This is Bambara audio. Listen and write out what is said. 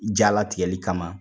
Jalatigɛli kama